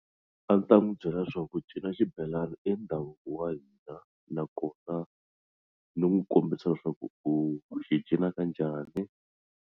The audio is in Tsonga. A ni ta n'wi byela swa ku ku cina xibelana i ndhavuko wa hina nakona ni n'wi kombisa swa ku u xi cina kanjhani.